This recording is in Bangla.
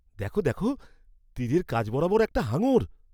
দেখো দেখো! তীরের কাছ বরাবর একটা হাঙর!